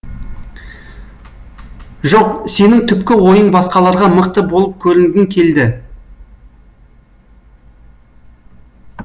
жоқ сенің түпкі ойың басқаларға мықты болып көрінгің келді